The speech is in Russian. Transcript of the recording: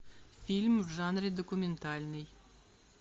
фильм в жанре документальный